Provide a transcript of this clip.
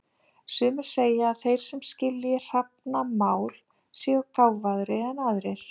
Sumir segja að þeir sem skilji hrafnamál séu gáfaðri en aðrir.